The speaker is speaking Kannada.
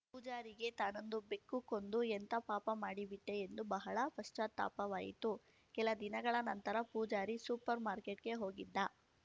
ಪೂಜಾರಿಗೆ ತಾನೊಂದು ಬೆಕ್ಕು ಕೊಂದು ಎಂಥಾ ಪಾಪ ಮಾಡಿಬಿಟ್ಟೆಎಂದು ಬಹಳ ಪಶ್ಚಾತ್ತಾಪವಾಯಿತು ಕೆಲ ದಿನಗಳ ನಂತರ ಪೂಜಾರಿ ಸೂಪರ್ ಮಾರ್ಕೆಟ್‌ಗೆ ಹೋಗಿದ್ದ